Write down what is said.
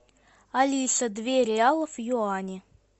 алиса две реалов в юани